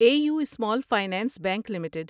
a U Small Finance Bank limited